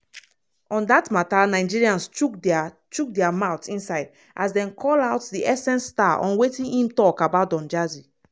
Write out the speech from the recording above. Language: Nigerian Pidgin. on dat mata nigerians chook dia chook dia mouth inside as dem call out di essence star on wetin im tok about don jazzy.